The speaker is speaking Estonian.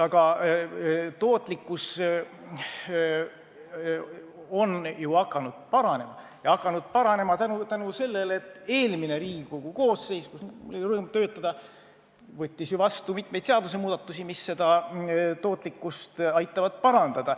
Aga tootlikkus on ju hakanud paranema, ja seda tänu sellele, et eelmine Riigikogu koosseis, kus mul oli rõõm töötada, võttis vastu mitmeid seadusmuudatusi, mis tootlikkust aitavad parandada.